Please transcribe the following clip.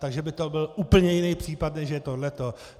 Takže by to byl úplně jiný případ, než je toto.